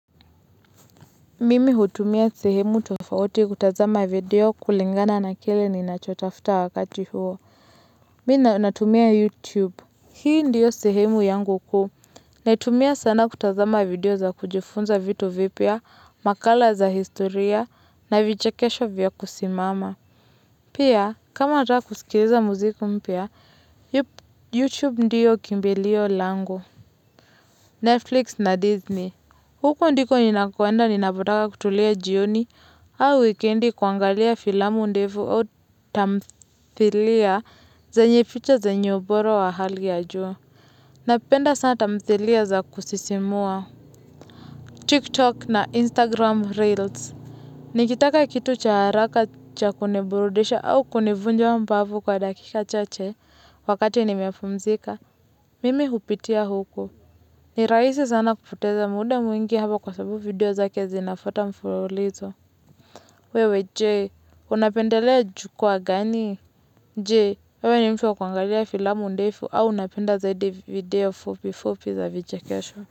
Mimi hutumia sehemu tofauti kutazama video kulingana na kile ninachotafta wakati huo Mi natumia youtube Hii ndiyo sehemu yangu kuu Netumia sana kutazama video za kujifunza vitu vipia makala za historia na vichakesho vya kusimama Pia kama ataka kusikileza muziku mpia youtube ndiyo kimbelio lango Netflix na disney huko ndiko nina kuwenda ninapotaka kutulia jioni au wikendi kuangalia filamu ndefu au tamthilia zenye ficha zenye bora wa hali ajua. Napenda sana tamthilia za kusisimua. TikTok na Instagram Reels Nikitaka kitu cha haraka cha kuniburudisha au kunivunja wa mbavu kwa dakika chache wakate nimepumzika. Mimi hupitia huko. Ni rahisi sana kupoteza muda mwingi hapa kwa sababu video zake zinafota mfulo lito. Wewe Jee, unapendelea jukua gani? Jee, wewe nimfwa kwangalia filamu ndefu au unapenda zaidi video fupi fupi za vijekesho.